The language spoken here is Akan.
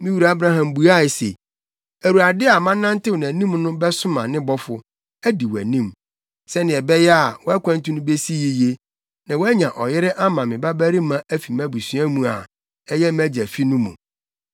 “Me wura Abraham buae se, ‘ Awurade a manantew nʼanim no bɛsoma ne bɔfo, adi wʼanim, sɛnea ɛbɛyɛ a, wʼakwantu no besi yiye, na woanya ɔyere ama me babarima afi mʼabusua mu a ɛyɛ mʼagya fi no mu.